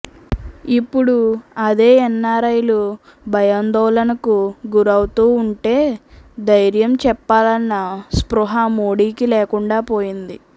ఇప్పుడు అదే ఎన్ఆర్ఐలు భయాందోళనలకు గురవుతూ ఉంటే ధైర్యం చెప్పాలన్న స్పృహ మోడీకి లేకుండా పోయింది